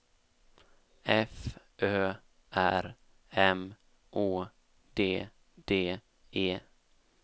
F Ö R M Å D D E